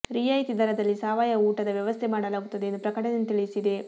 ರಿಯಾಯಿತಿ ದರದಲ್ಲಿ ಸಾವಯವ ಊಟದ ವ್ಯವಸ್ಥೆ ಮಾಡಲಾಗುತ್ತದೆ ಎಂದು ಪ್ರಕಟಣೆ ತಿಳಿಸಿದೆ